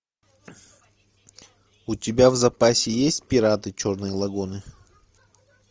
у тебя в запасе есть пираты черной лагуны